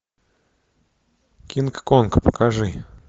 кинг конг покажи